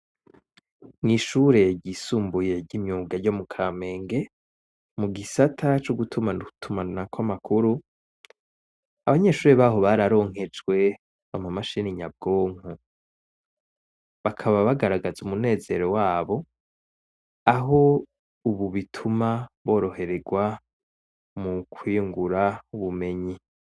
Mw'ishure ryisumbuye ry'imyuga ryo mu Kamenge, mu gisata co gutumatumanako amakuru abanyeshure baho bararonkejwe ama mashini nyabwonko, bakaba bagaragaza umunezero wabo, aho ubu bituma boroherwa mu kwiyungura ubumenyi.